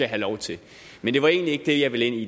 have lov til men det var egentlig ikke det jeg ville ind